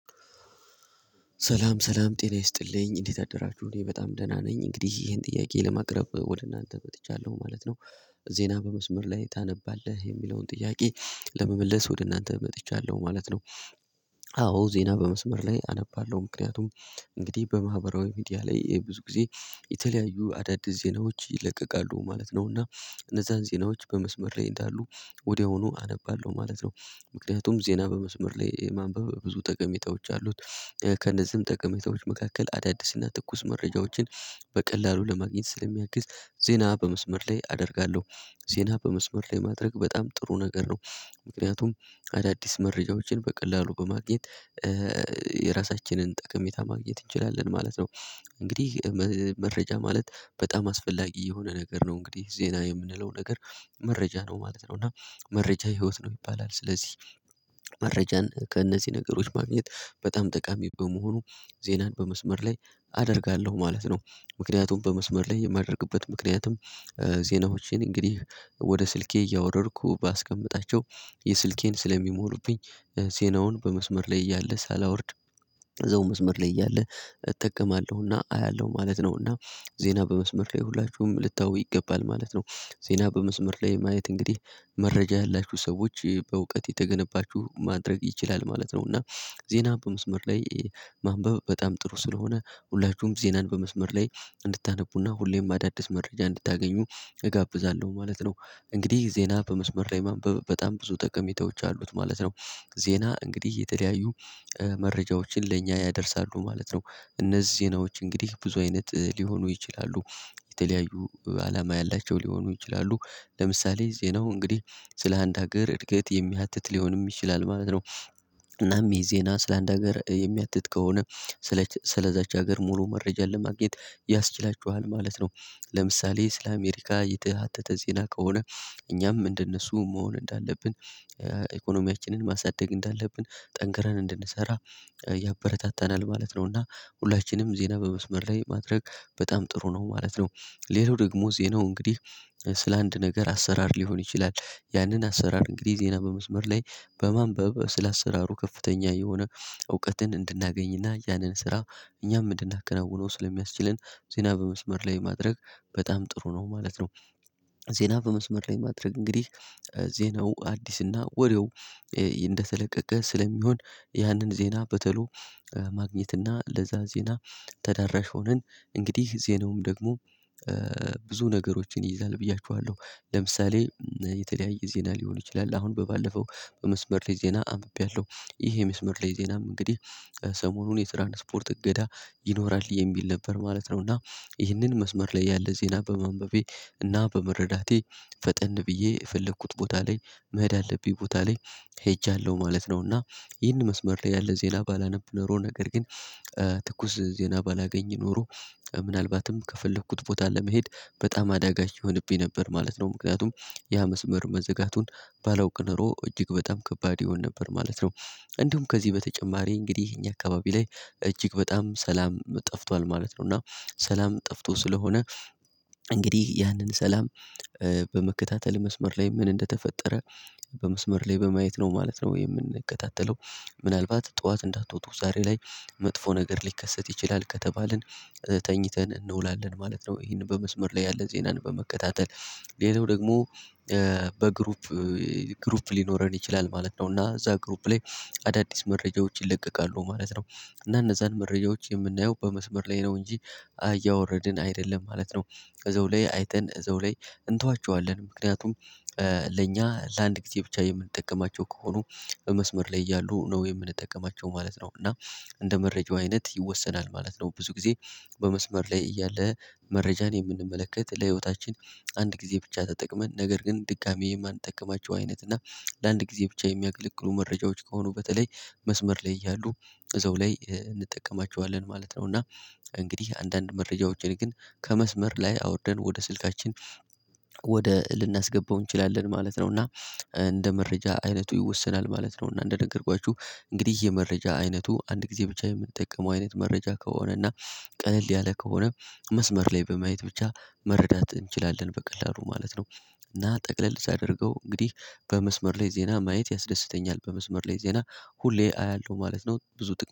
ሰላም ሰላም ጤና ይስጥልኝ እንዴት አደራችሁ እኔ በጣም ደህና ነኝ እንግዲህ ይሄን ጥያቄ ለማቅረብ ወደ እናንተ መጥቻለሁ ማለት ነው። ዜና በመስመር ላይ ታነባለህ የሚለውን ጥያቄ ለመመለስ ወደ እናንተ መጥቻለሁ ማለት ነው። አዎ ዜና በመስመር ላይ አነባለው ምክንያቱም እንግዲህ በማህበራዊ ሚዲያ ላይ ይሄ ብዙ ጊዜ የተለያዩ አዳዲስ ዜናዎች ይለቀቃሉ ማለት ነው እና እነዛን ዜናዎች በመስመር ላይ እንዳሉ ወዲያውኑ አነባለው ማለት ነው። ምክንያቱም ዜና በመስመር ላይ ማንበብ ብዙ ጠቀሜታዎች አሉት ከእነዚህም ጠቀሜታዎች መካከል አዳዲስና ትኩስ መረጃዎችን በቀላሉ ለማግኘት ስለሚያግዝ ዜና በመስመር ላይ አደርጋለሁ ዜና በመስመር ላይ ማድረግ በጣም ጥሩ ነገር ነው ምክንያቱም አዳዲስ መረጃዎችን በቀላሉ በማግኘት የራሳችንን ጠቀጠታ ማግኘት እንችላለን ማለት ነው። እንግዲህ መረጃ ማለት በጣም አስፈላጊ የሆነ ነገር ነው እንግዲህ ዜና የምንለው ነገር መረጃ ነው ማለት ነው እና መረጃ ህይወት ነው ይባላል ስለዚህ መረጃን ከእነዚህ ነገሮች ማግኘት በጣም ጠቃሚ በመሆኑ ዜናን በመስመር ላይ አደርጋለሁ ማለት ነው ምክንያቱም በመስመር ላይ የማደርግበት ምክንያትም ዜናዎቼን እንግዲህ ወደ ስልኬ እያወረድኩ ባስቀምጣቸው የስልኬን ስለሚሞሉብኝ ዜናውን በመስመር ላይ እያለ ሳላወርድ እዛው መስመር ላይ እያለ እጠቀማለሁና አያለው ማለት ነው እና ዜና በመስመር ላይ ሁላችሁም ልታዩ ይገባል ማለት ነው። ዜና በመስመር ላይ ማየት እንግዲህ መረጃ ያላችሁ ሰዎች በእውቀት የተገነባችሁ ማድረግ ይችላል ማለት ነው እና ዜና በመስመር ላይ ማንበብ በጣም ጥሩ ስለሆነ ሁላችሁም ዜናን በመስመር ላይ እንድታነቡና ሁሌም አዳዲስ መረጃ እንድታገኙ እጋብዛለሁ ማለት ነው። እንግዲህ ዜና በመስመር ላይ ማንበብ በጣም ብዙ ጠቀሜታዎች አሉት ማለት ነው ዜና እንግዲህ የተለያዩ መረጃዎችን ለእኛ ያደርሳሉ ማለት ነው እነዚህ ዜናዎች እንግዲህ ብዙ አይነት ሊሆኑ ይችላሉ የተለያዩ አላማ ያላቸው ሊሆኑ ይችላሉ ለምሳሌ ዜናው እንግዲህ ስለ አንድ ሀገር እድገት የሚያትት ሊሆንም ይችላል ማለት ነው እናም የዜና ስለ አንድ ሀገር የሚያትት ከሆነ ስለዛች ሀገር ሙሉ መረጃ ለማግኘት ያስችላችኋል ማለት ነው ለምሳሌ ስለ አሜሪካ የተሃተተ ዜና ከሆነ እኛም እንደነሱ መሆን እንዳለብን ኢኮኖሚያችንን ማሳደግ እንዳለብን ጠንክረን እንድንሰራ ያበረታታናል ማለት ነውና ሁላችንም ዜና በመስመር ላይ ማድረግ በጣም ጥሩ ነው ማለት ነው ሌላው ደግሞ ዜናው እንግዲህ ስለ አንድ ነገር አሰራር ሊሆን ይችላል ያንን አሰራር እንግዲህ ዜና በመስመር ላይ በማንበብ ስለ አሰራሩ ከፍተኛ የሆነ እውቀትን እንድናገኝና ያንን ስራ እኛም እንድናከናውነው ስለሚያስችለን ዜና በመስመር ላይ ማድረግ በጣም ጥሩ ነው ማለት ነው። ዜና በመስመር ላይ ማድረግ እንግዲህ ዜናው አዲስ እና ወዲያው እንደተለቀቀ ስለሚሆን ያንን ዜና በቶሎ ማግኘትና ለዛ ዜና ተዳራሽ ሆነን እንግዲህ ዜናውም ደግሞ ብዙ ነገሮችን ይይዛል ብዬያችኋለሁ ለምሳሌ የተለያየ ዜና ሊሆን ይችላል አሁን በባለፈው በመስመር ላይ ዜና አንብቤያለሁ ይሄ የመስመር ላይ ዜናም እንግዲህ ሰሞኑን የትራንስፖርት እገዳ ይኖራል የሚል ነበር ማለት ነው እና ይህንን መስመር ላይ ያለ ዜና በማንበቤ እና በመረዳቴ ፈጠን ብዬ የፈለኩት ቦታ ላይ መሄድ አለብኝ ቦታ ላይ ሄጃለሁ ማለት ነውና እና ይህን መስመር ላይ ያለ ዜና ባላነብ ኖሮ ነገር ግን ትኩስ ዜና ባላገኝ ኖሮ ምናልባትም ከፈለኩት ቦታ ለመሄድ በጣም አዳጋች ይሆንብኝ ነበር ማለት ነው ምክንያቱም ያ መስመር መዘጋቱን ባለውቅ ኖሮ እጅግ በጣም ከባድ ይሆን ነበር ማለት ነው። እንዲሁም ከዚህ በተጨማሪ እንግዲህ ይሄኛ አካባቢ ላይ እጅግ በጣም ሰላም ጠፍቷል ማለት ነው እና ሰላም ጠፍቶ ስለሆነ እንግዲህ ያንን ሰላም በመከታተል መስመር ላይ ምን እንደተፈጠረ በመስመር ላይ በማየት ነው ማለት ነው ወይ የምንከታተለው ምናልባት ጡዋት እንዳትወጡ ዛሬ ላይ መጥፎ ነገር ሊከሰት ይችላል ከተባልን ተኝተን እንውላለን ማለት ነው። ይሄንን በመስመር ላይ ያለ ዜናን በመከታተል ሌላው ደግሞ በግሩፕ ግሩፕ ሊኖረን ይችላል ማለት ነው እና እዛ ግሩፕ ላይ አዳዲስ መረጃዎች ይለቀቃሉ ማለት ነው። እና እነዛን መረጃዎች የምናየው በመስመር ላይ ነው እንጂ እያወረድን አይደለም ማለት ነው። እዛው ላይ አይተን እዛው ላይ እንተዋቹዋለን ምክንያቱም ለእኛ ለአንድ ጊዜ ብቻ የምንጠቀማቸው ከሆኑ መስመር ላይ እያሉ ነው የምንጠቀማቸው ማለት ነው እና እንደ መረጃው አይነት ይወሰናል ማለት ነው። ብዙ ጊዜ በመስመር ላይ እያለ መረጃን የምንመለከት ለህይወታችን አንድ ጊዜ ብቻ ተጠቅመን ነገር ግን ድጋሚ የማንጠቀማቸው አይነት እና ለአንድ ጊዜ ብቻ የሚያገለግሉ መረጃዎች ከሆኑ በተለይ መስመር ላይ ያሉ እዛው ላይ እንጠቀማቹዋለን ማለት ነው። እና እንግዲህ አንዳንድ መረጃዎች እኔ ግን ከመስመር ላይ አወርደን ወደ ስልካችን ወደ ልናስገባው እንችላለን ማለት ነው እና እንደ መረጃ አይነቱ ይወሰናል ማለት ነው እና እንደነገርኳችሁ እንግዲህ የመረጃ አይነቱ አንድ ጊዜ ብቻ የምንጠቀመው አይነት መረጃ ከሆነ እና ቀለል ያለ ከሆነ መስመር ላይ በማየት ብቻ መረዳት እንችላለን በቀላሉ ማለት ነው እና ጠቅለል ሳደርገው እንግዲህ በመስመር ላይ ዜና ማየት ያስደስተኛል በመስመር ላይ ዜና ሁሌ አያለሁ ማለት ነው። ብዙ ጥቅ